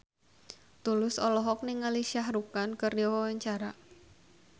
Tulus olohok ningali Shah Rukh Khan keur diwawancara